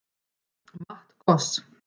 Matt Goss